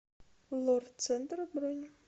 лор центр бронь